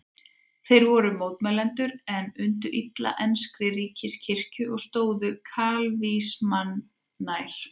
Þeir voru mótmælendur en undu illa enskri ríkiskirkju og stóðu kalvínismanum nær.